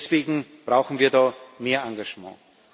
Deswegen brauchen wir da mehr Engagement.